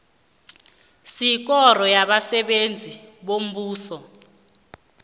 sekoro yabasebenzi bombuso